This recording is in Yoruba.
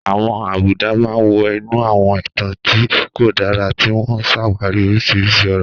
Àwọn àbùdá máa ń wọ inú àwọn ìtàn tí kò dára, tí wọ́n ń ṣàwárí oríṣiríṣi ọ̀rọ̀.